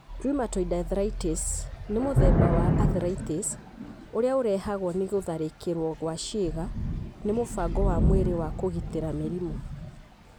Rheumatoid arthritis nĩ mũtheba wa arthritis ũrĩa ũrehagwo nĩ gũtharĩkĩrwo gwa ciĩga nĩ mũbango wa mwĩrĩ wa kũgitĩra mĩrimũ.